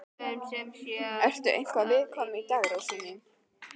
Ertu eitthvað viðkvæm í dag, rósin mín?